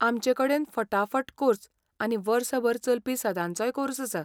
आमचेकडेन फटाफट कोर्स आनी वर्सभर चलपी सदांचोय कोर्स आसा.